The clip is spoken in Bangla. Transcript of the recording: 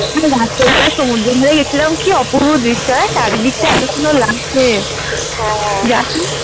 রাত্রেবেলায় সমুদ্রের ধরে গেছিলাম কি অপূর্ব দৃশ্য হ্যাঁ চারিদিকটা এত সুন্দর লাগছে । হ্যাঁ